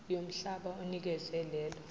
yomhlaba onikezwe lelo